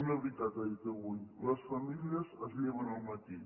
una veritat ha dit avui les famílies es lleven al matí